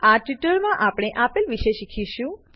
આ ટ્યુટોરીયલમાં આપણે આપેલ વિશે શીખીશું